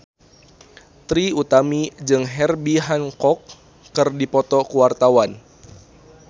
Trie Utami jeung Herbie Hancock keur dipoto ku wartawan